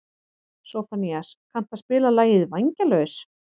Sófónías, kanntu að spila lagið „Vængjalaus“?